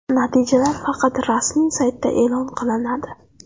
Natijalar faqat rasmiy saytda e’lon qilinadi.